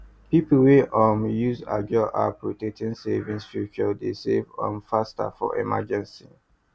people wey um use ajo app rotating savings feature dey save um faster for emergency